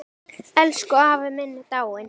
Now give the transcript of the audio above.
Elsku afi minn er dáinn.